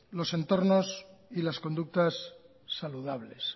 los entornos y las conductas saludables